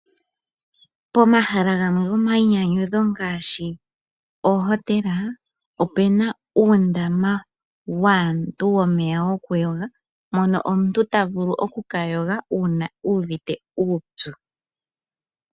Pomahala gamwe gwomayinyanyudho ngaashi ohotela ope na uundama waantu womeya gokuyoga, mono omuntu ta vulu oku ka yoga uuna uvite uupyu.